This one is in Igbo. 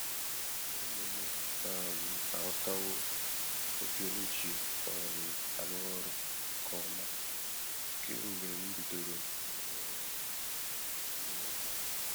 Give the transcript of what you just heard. Ụmụ mụ um aghọtawo oge m ji um arụ ọrụ nke ọma kemgbe m bidoro ịrụ ọrụ um n'ụlọ.